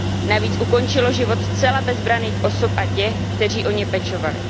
Navíc ukončilo život zcela bezbranných osob a těch, kteří o ně pečovali.